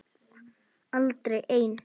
Aldrei ein